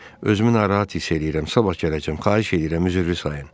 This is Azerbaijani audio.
Özümü narahat hiss eləyirəm, sabah gələcəm, xahiş eləyirəm, üzürlü sayın.